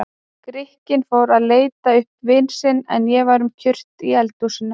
Grikkinn fór að leita uppi vin sinn, en ég var um kyrrt í eldhúsinu.